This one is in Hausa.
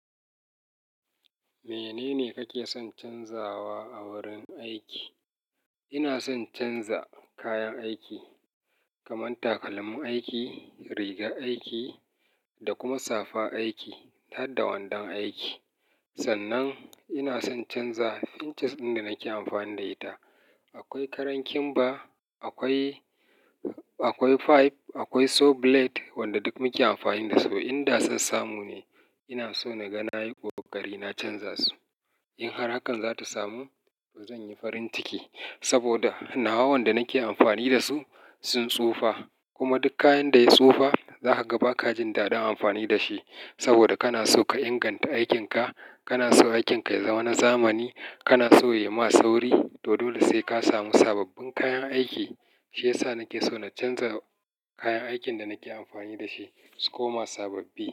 Menene kake son canzawa a wurin aiki? Ina son canza kayan aiki, kamar takalmin aiki, rigar aiki da kuma safa aiki, har da wandon aiki. Sannan ina son canza inches ɗin da nake amfani da ita. Akwai karankin ba, akwai, akwai pipe, akwai saw blade, wanda duk muke amfani da su. In da son samu ne, ina so na ga nayi ƙoƙari na canza su. In har hakan za ta samu, to zan yi farin ciki. Saboda nawa wanda nake amfani da su sun tsufa. Kuma duk kayan da ya tsufa, za ka ga ba ka jin daɗin amfani da shi. Saboda kana so ka inganta aikinka, kana so aikinka ya zama na zamani, kana so ya yi ma sauri, to dole sai ka samu sababbin kayan aiki. Shiyasa nake so na canza kayan aikin da nake amfani da shi su koma sababbi.